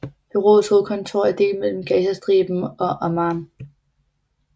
Bureauets hovedkontor er delt mellem Gazastriben og Amman